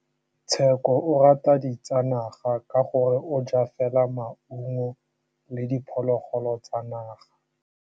Tshekô o rata ditsanaga ka gore o ja fela maungo le diphologolo tsa naga.